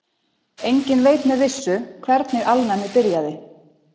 Enginn veit með vissu hvernig alnæmi byrjaði.